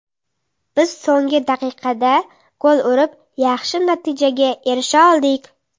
Biz so‘nggi daqiqada gol urib, yaxshi natijaga erisha oldik.